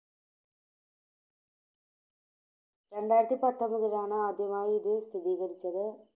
രണ്ടായിരത്തിപ്പത്തൊൻപതിലാണ് ആദ്യമായി ഇത് സ്ഥിരീകരിച്ചത്.